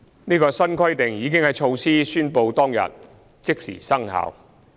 這項新規定已在措施宣布當天即時生效。